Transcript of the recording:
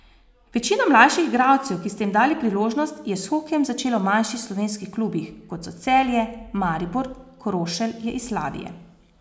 Večina mlajših igralcev, ki ste jim dali priložnost, je s hokejem začela v manjših slovenskih klubih, kot so Celje, Maribor, Krošelj je iz Slavije.